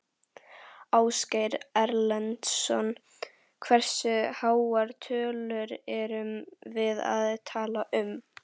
Ásgeir Erlendsson: Hversu háar tölur erum við að tala um?